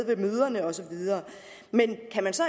ved møderne osv men kan man så